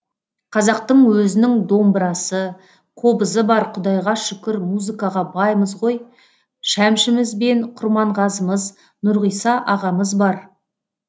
қазақтың өзінің домбырасы қобызы бар құдайға шүкір музыкаға баймыз ғой шәмшіміз бен құрманғазымыз нұрғиса ағамыз бар